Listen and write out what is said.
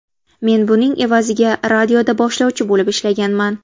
Men buning evaziga radioda boshlovchi bo‘lib ishlaganman.